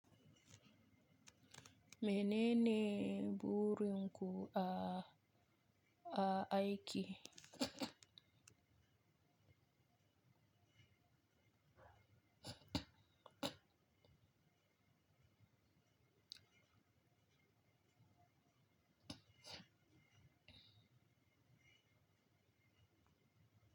Menene burin ku a, a aiki?